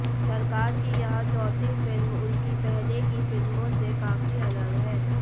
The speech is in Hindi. सरकार की यह चौथी फिल्म उनकी पहले की फिल्मों से काफी अलग है